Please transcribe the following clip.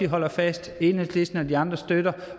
holder fast at enhedslisten og de andre støtter